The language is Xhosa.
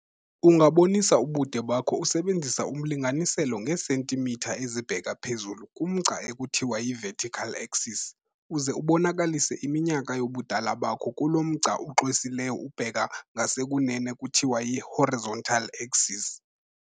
Ungabonisa ubude bakho usebenzisa umlinganiselo ngeesentimitha ezibheka phezulu kumgca ekuthiwa yi-vertical axis, uze ubonakalise iminyaka yobudala bakho kulo mgca uxwesileyo ubheka ngasekunene kuthiwa yi-horizontal axis.